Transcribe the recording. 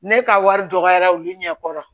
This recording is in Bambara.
Ne ka wari dɔgɔyara olu ɲɛ kɔrɔ